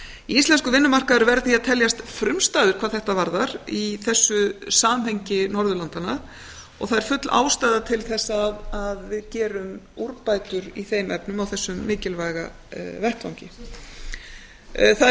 íslenskur vinnumarkaður verður því að teljast frumstæður hvað þetta varðar í þessu samhengi norðurlandanna og það er full ástæða til þess að við gerum úrbætur þeim efnum á þessum mikilvæga vettvangi það er